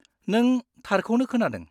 नों, थारखौनो खोनादों।